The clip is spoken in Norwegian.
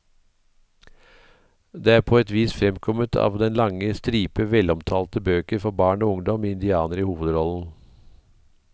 Det er på et vis fremkommet av den lange stripe velomtalte bøker for barn og ungdom med indianere i hovedrollen.